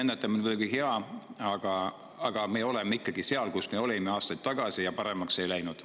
Ennetamine on muidugi hea, aga me oleme seal, kus me olime aastaid tagasi, paremaks ei ole midagi läinud.